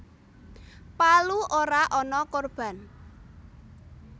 Palu ora ana korban